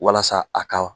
Walasa a ka